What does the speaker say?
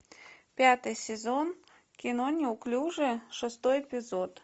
пятый сезон кино неуклюжие шестой эпизод